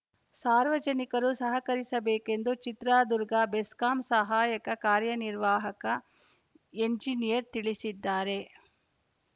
ಸಾರ್ವಜನಿಕರು ಸಹಕರಿಸಬೇಕೆಂದು ಚಿತ್ರದುರ್ಗ ಬೆಸ್ಕಾಂ ಸಹಾಯಕ ಕಾರ್ಯನಿರ್ವಾಹಕ ಎಂಜಿನಿಯರ್‌ ತಿಳಿಸಿದ್ದಾರೆ